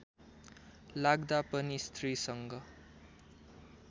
लाग्दा पनि स्त्रीसँग